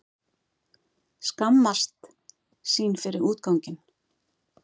Skammast sín fyrir útganginn.